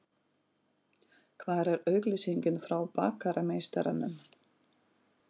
Hvar er auglýsingin frá Bakarameistaranum?